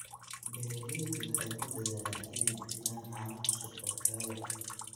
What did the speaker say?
Beeraleydu waxay ku dadaalaan inay bixiyaan caano cusub oo tayo leh.